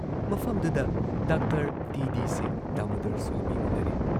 ꯃꯐꯝꯗꯨꯗ doctor T D Singh Damodar Swami ꯎꯟꯅꯔꯦ ꯫